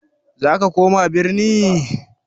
Za ka koma birni?